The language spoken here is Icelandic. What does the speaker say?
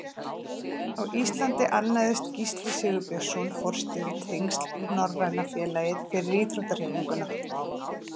Á Íslandi annaðist Gísli Sigurbjörnsson forstjóri tengsl við Norræna félagið fyrir íþróttahreyfinguna.